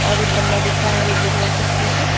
और एक गमला दिख रहा है येलो कलर के फूल का।